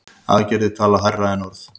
Aðgerðir tala hærra en orð.